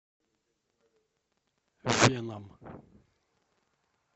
веном